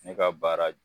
Ne ka baara